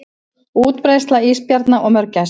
Útbreiðsla ísbjarna og mörgæsa.